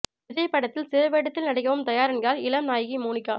விஜய் படத்தில் சிறு வேடத்தில் நடிக்கவும் தயார் என்கிறார் இளம் நாயகி மோனிகா